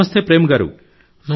నమస్తే ప్రేమ్ గారూ